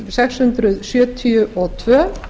sex hundruð sjötíu og tvö